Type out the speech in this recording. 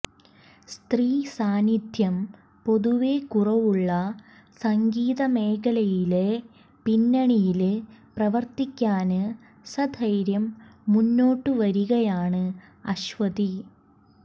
സ്ത്രീ സാന്നിധ്യം പൊതുവെ കുറവുള്ള സംഗീത മേഖലയിലെ പിന്നണിയില് പ്രവര്ത്തിക്കാന് സധൈര്യം മുന്നോട്ട് വരികയാണ് അശ്വതി